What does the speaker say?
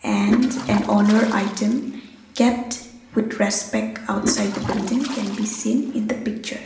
hence an honour item kept with respect outside the building can be seen in the picture.